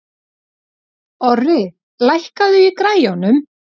Orri, lækkaðu í græjunum.